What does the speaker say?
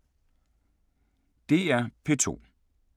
DR P2